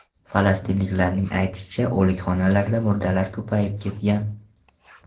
Falastinliklarning aytishicha, o‘likxonalarda murdalar ko‘payib ketgan.